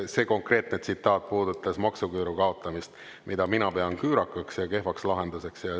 See konkreetne tsitaat puudutas maksuküüru kaotamist, mida mina pean küürakaks ja kehvaks lahenduseks.